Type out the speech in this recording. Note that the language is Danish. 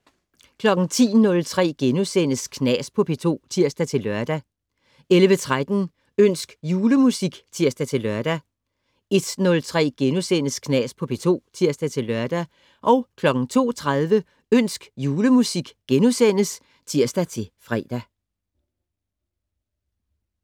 10:03: Knas på P2 *(tir-lør) 11:13: Ønsk julemusik (tir-lør) 01:03: Knas på P2 *(tir-lør) 02:13: Ønsk julemusik *(tir-fre)